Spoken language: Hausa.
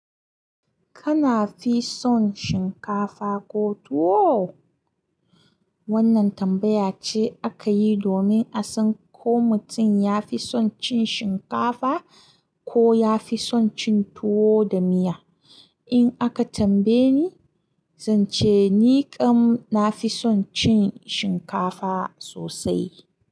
Kana fi son shinkafa ko tuwo? Wannan tambaya ce aka yi domin a san ko mutum ya fi son cin shinkafa ko ya fi son cin tuwo da miya. In aka tambaye ni, zan ce ni kam na fi son cin shinkafa sosai.